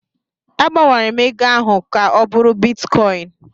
A gbanwere m ego ahụ ka ọ bụrụ bitkọin.